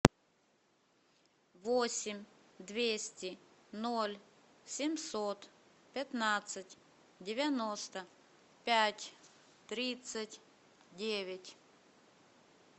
восемь двести ноль семьсот пятнадцать девяносто пять тридцать девять